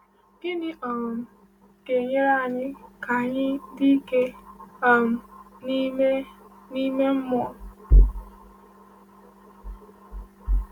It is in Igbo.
Gịnị um ga-enyere anyị ka anyị dị ike um n’ime n’ime mmụọ?